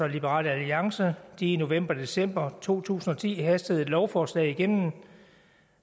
og liberal alliance i november og december to tusind og ti hastede et lovforslag igennem